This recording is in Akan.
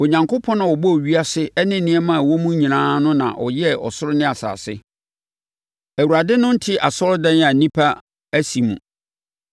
“Onyankopɔn a ɔbɔɔ ewiase ne nneɛma a ɛwɔ mu nyinaa no na ɔyɛɛ ɔsoro ne asase. Awurade no nte asɔredan a nnipa asi mu.